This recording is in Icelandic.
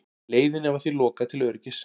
Leiðinni var því lokað til öryggis